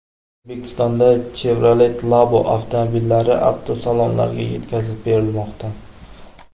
O‘zbekistonda Chevrolet Labo avtomobillari avtosalonlarga yetkazib berilmoqda.